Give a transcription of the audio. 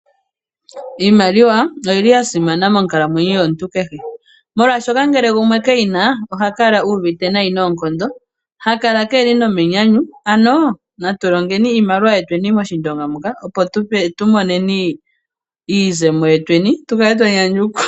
Iimaliwa oyili ya simana monkalamwenyo yomuntu kehe, molwaashoka ngele gumwe keyina oha kala uuvite nayi noonkondo. Hakala keeli nomenyanyu ano natu longeni iimaliwa yetwenii mOshindonga muka opo tu moneni iizemo yetweni tu kale twanyanyukwa.